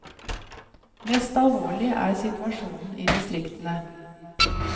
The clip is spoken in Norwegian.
Mest alvorlig er situasjonen i distriktene.